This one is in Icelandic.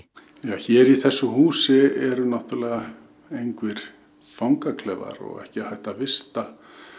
hér í þessu húsi eru náttúrulega engir fangaklefar og ekki hægt að vista